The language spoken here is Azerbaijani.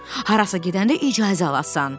Harasa gedəndə icazə alasan.